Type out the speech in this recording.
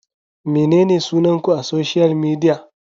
Menene sunan ku a social media?